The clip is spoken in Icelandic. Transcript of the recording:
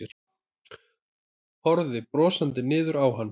Horfði brosandi niður á hann.